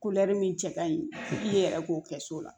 min cɛ ka ɲi i ye yɛrɛ k'o kɛ so la